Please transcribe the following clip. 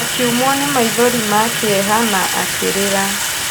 Akiumwo nĩ maithori ma kĩeha na akĩrĩra.